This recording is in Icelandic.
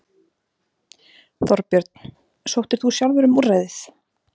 Þorbjörn: Sóttir þú sjálfur um úrræðið?